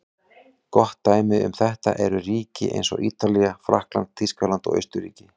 Gott dæmi um þetta eru ríki eins og Ítalía, Frakkland, Þýskaland og Austurríki.